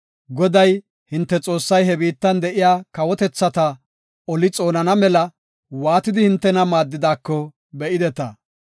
Goday, hinte Xoossay ha biittan de7iya kawotethata oli xoonana mela waatidi hintena maaddidaako be7ideta.